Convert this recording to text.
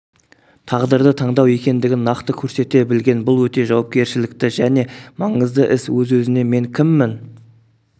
тағдырды таңдау екендігін нақты көрсете білген бұл өте жауапкершілікті және маңызды іс өз-өзіне мен кіммін